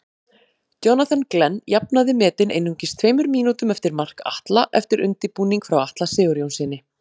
Jonathan Glenn jafnaði metin einungis tveimur mínútum eftir mark Atla eftir undirbúning frá Atla Sigurjónssyni.